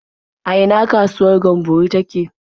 A ina kasuwar Gamburo take?